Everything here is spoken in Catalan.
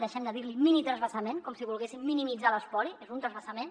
dei·xem de dir·ne minitransvasament com si volguéssim minimitzar l’espoli és un transvasament